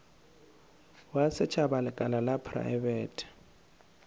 wa setšhaba lekala la praebete